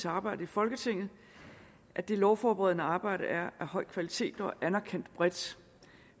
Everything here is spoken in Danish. arbejdet i folketinget at det lovforberedende arbejde er af en høj kvalitet og anerkendt bredt